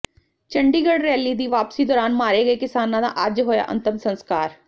Chandigarh rally ਦੀ ਵਾਪਸੀ ਦੌਰਾਨ ਮਾਰੇ ਗਏ ਕਿਸਾਨਾਂ ਦਾ ਅੱਜ ਹੋਇਆ ਅੰਤਮ ਸਸਕਾਰ